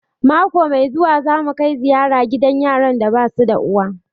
Mako mai zuwa za mu kai ziyara gidan yaran da basu da uwa